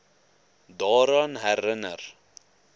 daaraan herin ner